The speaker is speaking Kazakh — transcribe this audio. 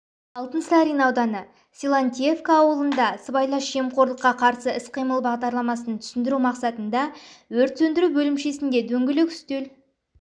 алтынсарин ауданы силантьевка ауылында сыбайлас жемқорлыққа қарсы іс-қимыл бағдарламасын түсіндіру мақсатында өрт сөндіру бөлімшесінде дөңгелек үстел